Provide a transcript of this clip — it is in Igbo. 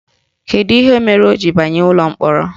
Kedu ihe mere o ji banye ụlọ mkpọrọ?